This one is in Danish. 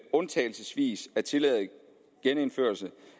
undtagelsesvis at tillade genindførelse